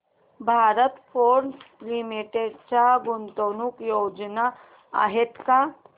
Bharat Forge limited च्या गुंतवणूक योजना आहेत का